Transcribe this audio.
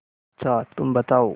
अच्छा तुम बताओ